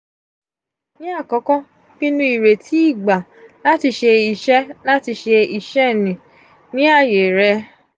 ni akọkọ pinnu ireti igba lati se iṣẹ lati se iṣẹ nì ní ààyè rẹ.